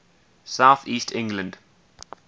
south east england